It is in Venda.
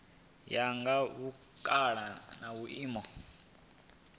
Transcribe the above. ya nga vhukale na vhuimo